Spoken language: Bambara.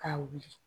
K'a wuli